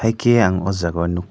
haike ang o jago nog.